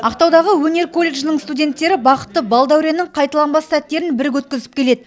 ақтаудағы өнер колледжінің студенттері бақытты бал дәуреннің қайталанбас сәттерін бірге өткізіп келеді